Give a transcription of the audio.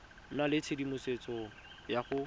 nna le tshedimosetso ya go